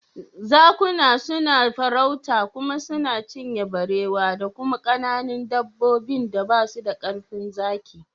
Zakuna suna farauta kuma suna cinye barewa da kuma kananun dabbobin da basu da karfin zaki.